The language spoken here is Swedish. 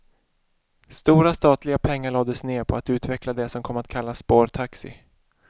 Stora statliga pengar lades ner på att utveckla det som kom att kallas spårtaxi.